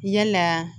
Yalaa